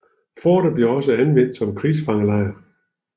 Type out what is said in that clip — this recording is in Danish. Fortet blev også anvendt som krigsfangelejr